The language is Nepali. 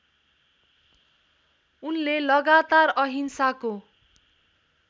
उनले लगातार अहिंसाको